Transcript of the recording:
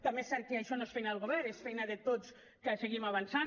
també és cert que això no és feina del govern és feina de tots que seguim avançant